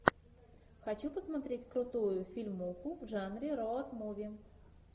хочу посмотреть крутую фильмуху в жанре роуд муви